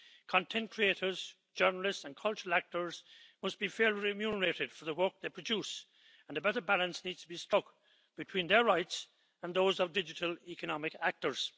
Content creators, journalists and cultural actors must be fairly remunerated for the work they produce and a better balance needs to be struck between their rights and those of digital economic actors.